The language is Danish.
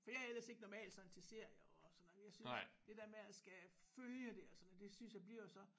For jeg er ellers ikke normalt sådan til serier og sådan noget jeg synes det der med at skal følge det og sådan det synes jeg bliver så